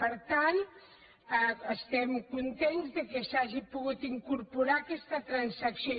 per tant estem contents que s’hagi pogut incorporar aquesta transacció